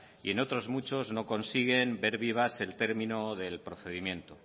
y en otros muchos no consiguen ver vivas el término del procedimiento